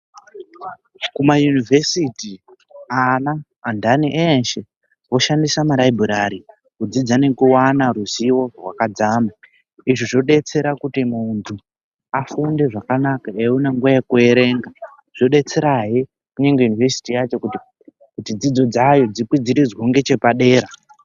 KumaYunivhesiti, ana andani eeshe oshandisa malaibhurari kudzidza nekuwana ruzivo rwakadzama. Izvo zvodetsera kuti muntu afunde zvakanaka eiona nguwa yekuerenga, zvodetserahe ngunyange Yunivhesiti yacho kuti dzidzo dzayo dzikwidziridzwewo ngechepadera.